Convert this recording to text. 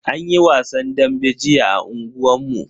Anyi wasan dambe jiya a unguwan mu.